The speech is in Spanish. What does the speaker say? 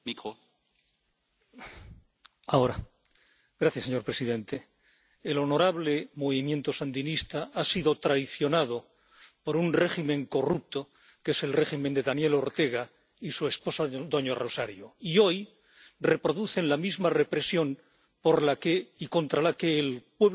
Señor presidente, el honorable movimiento sandinista ha sido traicionado por un régimen corrupto, que es el régimen de Daniel Ortega y su esposa doña Rosario, y que hoy reproduce la misma represión por la que y contra la que el pueblo sandinista, el pueblo nicaragüense luchó heroicamente en